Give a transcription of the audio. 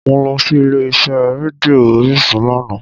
Mo lọ sí ilé iṣẹ́ rédíò orísun lánàá